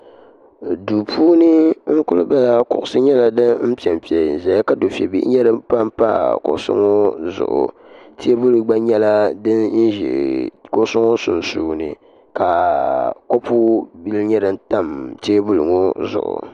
Duu puuni n kuli bala kuɣusi nyɛla di piɛmpe n zaya ka dufebihi nyɛ din pampa kuɣusi ŋɔ zuɣu teebuli gba nyɛla din ʒɛ kuɣusi ŋɔ sunsuuni ka kopu bihi nyɛ din tam teebuli ŋɔ zuɣu.